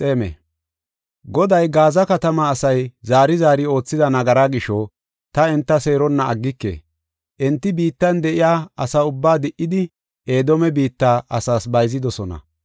Goday, “Gaaza katamaa asay zaari zaari oothida nagaraa gisho, ta enta seeronna aggike. Enti biittan de7iya asa ubbaa di77idi, Edoome biitta asas bayzidosona.